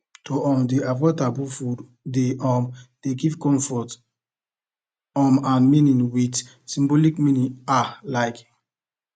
to um dey avoid taboo foods dey um give comfort um and meaning with symbolic meaning ah like